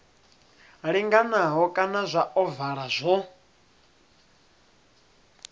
linganaho kana zwa ovala zwo